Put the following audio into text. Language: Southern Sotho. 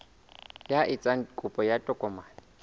ya etsang kopo ya tokomane